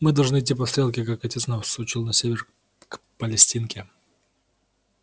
мы должны идти по стрелке как отец нас учил на север к палестинке